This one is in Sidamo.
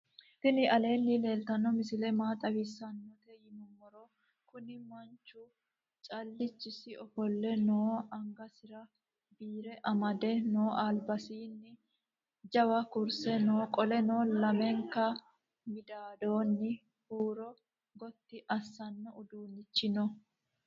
tini aleni leltano misile maa xawisawisawote yiinumoro. kuuni manchu calichisi offole noo. angasira bire amade noo albasinni jawakurse noo qoleno lamenka midadoni huuro goti asano uduunichi noo.